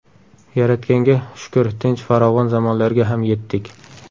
Yaratganga shukr, tinch, farovon zamonlarga ham yetdik.